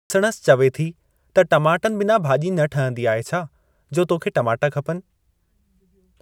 ससुणसि चवे थी त टमाटनि बिना भाॼी न ठहंदी आहे छा, जो तोखे टमाटा खपनि।